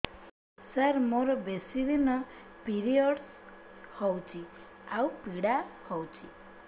ସାର ମୋର ବେଶୀ ଦିନ ପିରୀଅଡ଼ସ ହଉଚି ଆଉ ପୀଡା ହଉଚି